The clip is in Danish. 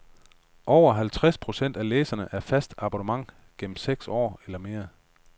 Over halvtreds procent af læserne er faste abonnenter gennem seks år eller mere.